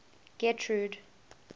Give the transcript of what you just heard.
getrude